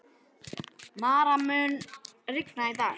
Mara, mun rigna í dag?